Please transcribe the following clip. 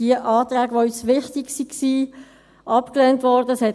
Die Anträge, die uns wichtig waren, wurden abgelehnt.